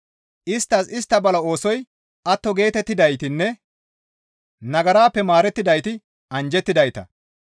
«Isttas istta bala oosoy atto geetettidaytinne nagarappe maarettidayti anjjettidayta!